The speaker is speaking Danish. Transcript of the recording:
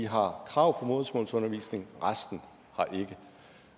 har krav på modersmålsundervisning resten har ikke